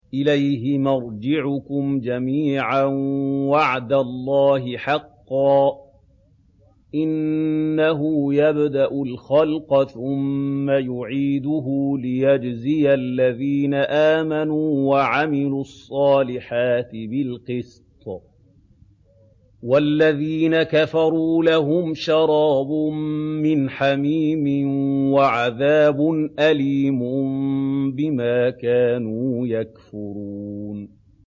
إِلَيْهِ مَرْجِعُكُمْ جَمِيعًا ۖ وَعْدَ اللَّهِ حَقًّا ۚ إِنَّهُ يَبْدَأُ الْخَلْقَ ثُمَّ يُعِيدُهُ لِيَجْزِيَ الَّذِينَ آمَنُوا وَعَمِلُوا الصَّالِحَاتِ بِالْقِسْطِ ۚ وَالَّذِينَ كَفَرُوا لَهُمْ شَرَابٌ مِّنْ حَمِيمٍ وَعَذَابٌ أَلِيمٌ بِمَا كَانُوا يَكْفُرُونَ